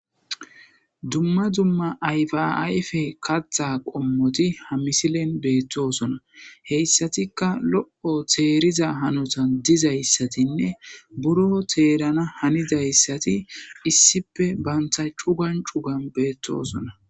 Dumma dumma ayfiayfe kattha qommoti hamisilen beettoosona heyssatikka lo'o teeriza hanotan dizayssatinne buro teerana hanidayssati issipe banta cugan cugan beettoosona